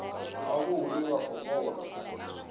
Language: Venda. havho hune vha nga kona